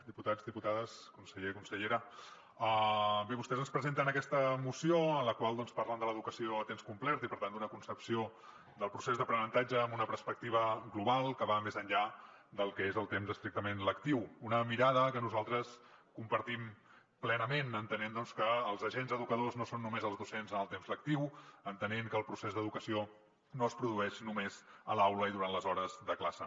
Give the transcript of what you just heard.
diputats diputades conseller consellera bé vostès ens presenten aquesta moció en la qual doncs parlen l’educació a temps complet i per tant d’una concepció del procés d’aprenentatge amb una perspectiva global que va més enllà del que és el temps estrictament lectiu una mirada que nosaltres compartim plenament entenent que els agents educadors no són només els docents en el temps lectiu entenent que el procés d’educació no es produeix només a l’aula i durant les hores de classe